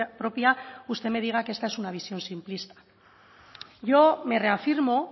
propia usted me diga que esta es una visión simplista yo me reafirmo